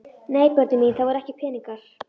Nei börnin mín, það voru ekki peningar.